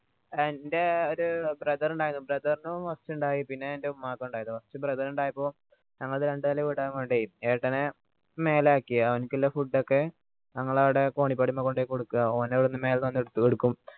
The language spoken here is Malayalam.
എൻറെ ഒരു brother ഉണ്ടായിരുന്നു brother നു വന്നിട്ടുണ്ടായി പിന്നെ എൻറെ ഉമ്മാക്ക് ഉണ്ടായിരുന്നു first brother ന് ഉണ്ടായപ്പോ ഞങ്ങളത് രണ്ടു നില വീട് ആയതുകൊണ്ട് ഏട്ടനെ മേലെ ആക്കി അവൻക്കുള്ള ഫുഡ് ഒക്കെ ഞങ്ങൾ അവിടെ കോണിപ്പടിമ്മൽ പോയി കൊടുക്ക ഓന് അത് മേലെന്ന് വന്ന് എടുക്കും